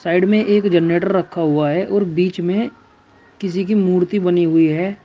Side में एक generator रखा हुआ है और बीच में किसी की मूर्ति बनी हुई है।